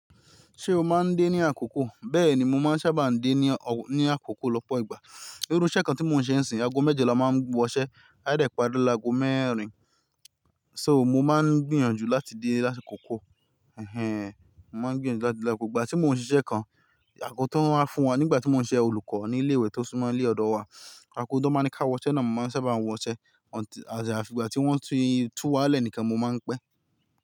Ṣé o máa ń dé ní àkókò? Bẹ́ẹ̀ni, mo máa ń sábà dé ní àkókò lọ́pọ̀ ìgbà. Irú iṣẹ́ kan tí mò ń ṣe ń sìn, aago mẹ́jọ là má ń wọṣẹ́, a dẹ̀ pari laago mẹ́rin. So, mo má ń gbìyànjú láti dé lásìkò kókó. Ẹ̀hẹn. Mo má ń gbìyànjú láti dé lákokò. Ìgbà tí mò ń ṣiṣẹ́ kan, àgo tó wa ń fún wa nígbà tí mò ń ṣe olùkọ́ ní ilé ìwé tó súnmọ́ ilé ọ̀dọ̀ wa, àgo tan máa ńi ká wọṣẹ́ náà mo máa ń sábà wọṣẹ́. Àti afi ìgbà tí wọ́n tú wa lẹ́ẹ̀níkan mo máa ń pẹ́.